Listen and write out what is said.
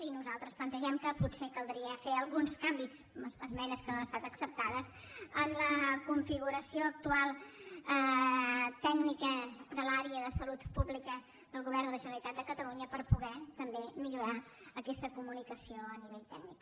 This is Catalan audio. i nosaltres plantegem que potser caldria fer alguns canvis esmenes que no han estat acceptades en la configuració actual tècnica de l’àrea de salut pública del govern de la generalitat de catalunya per poder també millorar aquesta co·municació a nivell tècnic